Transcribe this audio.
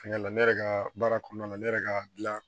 Fɛnkɛ la ne yɛrɛ ka baara kɔnɔna na ne yɛrɛ ka gilan